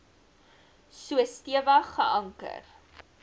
so stewig geanker